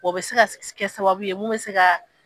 O bɛ se se ka kɛ sababu ye mun bɛ se ka.